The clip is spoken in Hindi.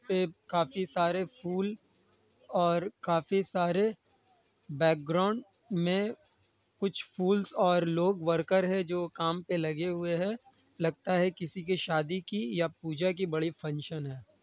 एक काफी सारे फूल और काफी सारे बैकग्राउंड में कुछ फूल्स और वर्कर लोग हैं जो काम पे लगे हुए हैं| लगता है किसी की शादी की या पूजा की बड़ी फंक्शन है।